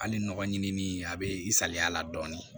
Hali nɔgɔ ɲinini a be i salaya la dɔɔnin